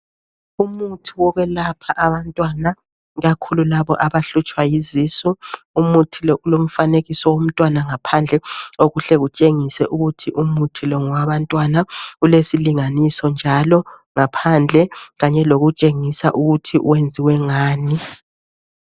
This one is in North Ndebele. Umuthi wokwelapha abantwana ikakhulu laba abahlutshwa yizisu. Umuthi lo ulomfanekiso womntwana phandle okuhle kutshengise ukuthi umuthi lo ngowabantwana .Ulesilinganiso njalo ngaphandle kanye lokutshengisa ukuthi wenziwe ngani.